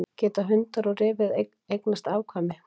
Geta hundar og refir eignast saman afkvæmi?